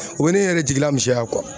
U bɛ ne yɛrɛ jigila misɛnya